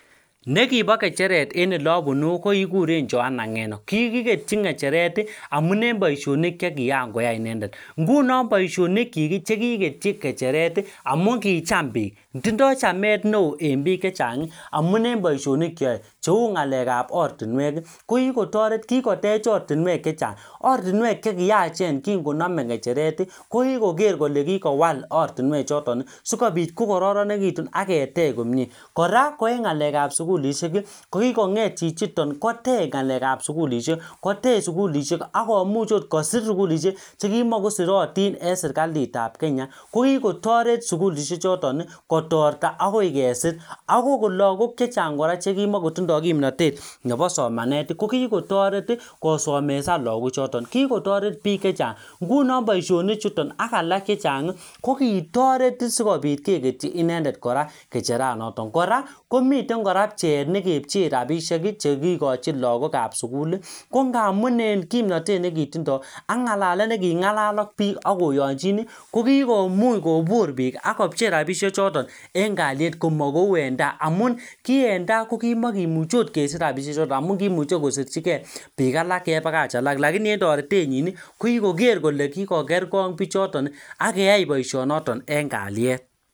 Nekibo kecheret eng' ole abunu ko kikuren Joanna Ng'eno kikiketchin kecheret amun eng' boishonik chekikakoya ine nguno boishonikchik chekiketchi kecheret amun kicham piik tindoi chamet neo eng' biik chechang' amun eng' boishonik cheoe cheu ng'alekab ortinwek kokikotoret kokikototech ortinwek chechang' ortinwek chekiyachen kingonomei kecheret ko kikokorer kole kikowal ortinwechoton sikobit kokororonitu aketech komye kora eng' ng'alekab sukulishek ko kikong'et chichiton kotech ng'alekab sukulishek kotech sukulishek akumuch akot kosir sukulishek chekimikoserotin eng' setikalitab Kenya ko kikotoret sukulishechoton kotorta akesir ako ko lakok chechang' kora chekimikotindoi kimnatet nebo somanet ko kikotoret kosomeshan lakochoto kikotoret biik chechang' nguno boishonichutom ak alak chechang' kokitoret sikobit keketchi inendet kora kicheranoto kora komiten kora pcheet nekepcheei rapishek chekilochin lakokab sukul ko ngaamun kimnotet nekitindoi ak ng'alalet neking'alal ak biik akoyonjin kokikoomuuch kobur biik akopchei rapishechoton eng' kaliet kamakou eng' tai amun ki en tai kokmakemuchei akot kesich rapishechoton amun kiimuchei kosirchigei biik alak kebakach alak lakini eng' toretenyin kokikoker kole kikoker kong' pichoton akeyai boishonoto eng' kaliet